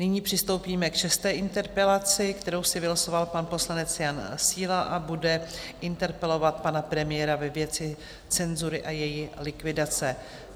Nyní přistoupíme k šesté interpelaci, kterou si vylosoval pan poslanec Jan Síla, a bude interpelovat pana premiéra ve věci cenzury a její likvidace.